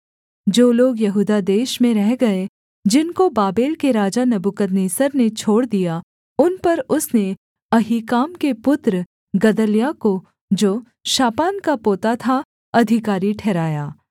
जो लोग यहूदा देश में रह गए जिनको बाबेल के राजा नबूकदनेस्सर ने छोड़ दिया उन पर उसने अहीकाम के पुत्र गदल्याह को जो शापान का पोता था अधिकारी ठहराया